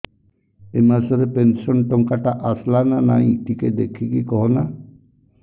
ଏ ମାସ ରେ ପେନସନ ଟଙ୍କା ଟା ଆସଲା ନା ନାଇଁ ଟିକେ ଦେଖିକି କହନା